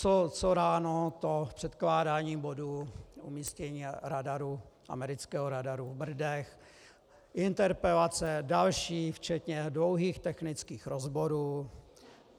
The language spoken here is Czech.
Co ráno, to předkládání bodu umístění radaru, amerického radaru v Brdech, interpelace, další, včetně dlouhých technických rozborů.